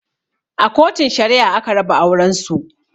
A Kotun Shari'a aka raba auren su.